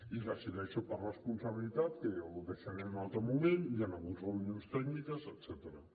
i decideixo per responsabilitat que ja ho deixaré per a un altre moment hi han hagut reunions tècniques etcètera